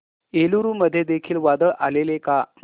एलुरू मध्ये देखील वादळ आलेले का